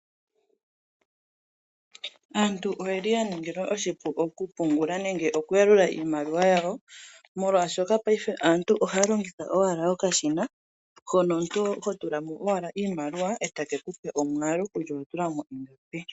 Aantu oyeli yeshi ningilwa oshipu oku pungula nenge oku yalula iimaliwa yawo, molwaashoka paife aantu longitha owala okashina hono omuntu ho tula mo owala iimaliwa, e ta ke ku pe omwaalu kutya owa tula mo shike.